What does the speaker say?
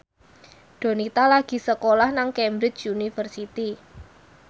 Donita lagi sekolah nang Cambridge University